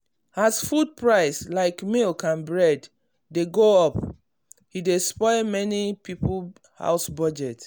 as food price like milk and bread dey go up e dey spoil many people house budget.